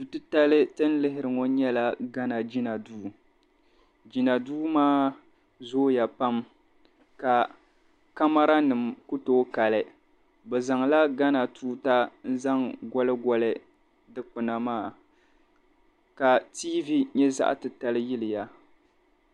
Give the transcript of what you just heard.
Du' titali ti ni lihira ŋɔ nyɛla ghana jina duu. Jina duu maa zooya pam ka kamaranima ku tooi kali. Bɛ zaŋla ghana tuuta n-zaŋ goligoli dikpina maa ka tiivi nyɛ zaɣ' titali yiliya.